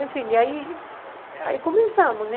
Enfim, e aí aí começamos, né?